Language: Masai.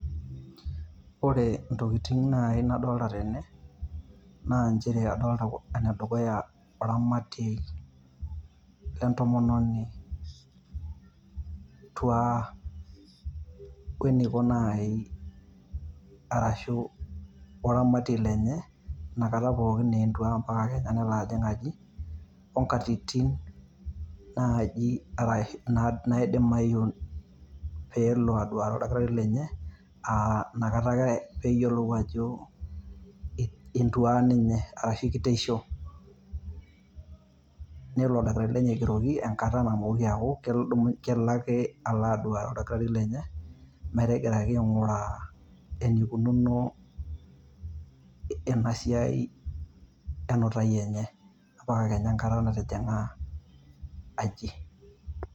Ore intokitin naii nidolita tene naa inchere adolita enedukuya iramati entomononi entuaa oneiko enelo aeei arashu oramati lenye inakata pookin era entuaa mapaka nelo ajing' aaji onkatitin naaji naidimayu peelo aduaru oldakitari lenye inakata ake peeyiolou ajo intuaa ninye arashu kiteisho, nelo oldakitari lenye aigeroki enkata namooki aaku kelo ake alo aduaru oldakitari lenye metegiraki ainguraa eneikununo ena siaai enutai enye mpaka [cs[ enkata natijing'a aji.